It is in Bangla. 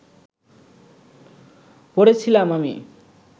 পড়ে ছিলাম আমি